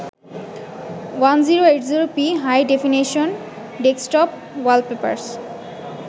1080p High-definition desktop wallpapers